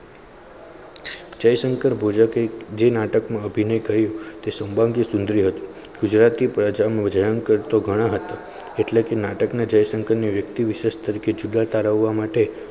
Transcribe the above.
જયશંકર ભોજક જે નાટક અભિનય કર્યું સંબંધ ગુજરાતી ભજન કરતો ગણા એટલે કે નાટકમાં જયશંકરને વ્યક્તિ વિશેષ તરીકે જુદા તારવવા માટે.